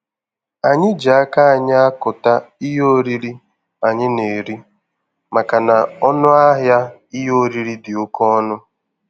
Anyị ji aka anyị akụta ihe oriri anyị na-eri makana ọnụ ahịa ihe oriri dị oke ọnụ.